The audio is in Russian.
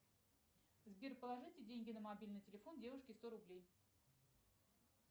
сбер положите деньги на мобильный телефон девушке сто рублей